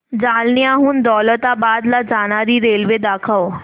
जालन्याहून दौलताबाद ला जाणारी रेल्वे दाखव